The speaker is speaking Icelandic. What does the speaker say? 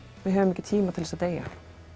við höfum ekki tíma til að deyja